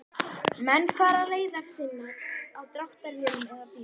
Menn fara leiðar sinnar á dráttarvélum eða bílum.